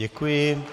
Děkuji.